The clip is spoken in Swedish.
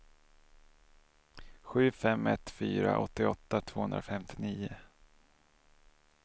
sju fem ett fyra åttioåtta tvåhundrafemtionio